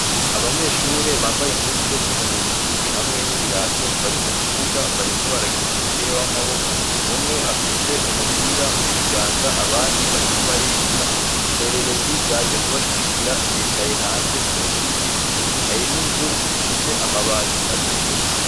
Abanyeshure bambaye impuzu zo kwinonora imitsi hamwe n'ibirato, bari mukibuga bariko barakina umupira w'amaboko, umwe afise umupira mukiganza ,abandi bariko bariruka, indorerezi zaje kubashigikira zicaye hanze munsi y'igiti ,harimw'inzu ifise amabati atukura.